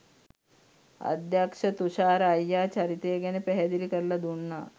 අධ්‍යක්ෂ තුෂාර අයියා චරිතය ගැන පැහැදිලි කරලා දුන්නා